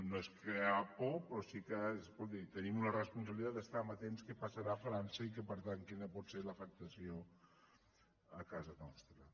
no és crear por però sí que escolti tenim la responsabilitat d’estar amatents què passarà a frança i per tant quina pot ser l’afectació a casa nostra